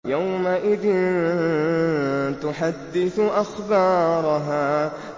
يَوْمَئِذٍ تُحَدِّثُ أَخْبَارَهَا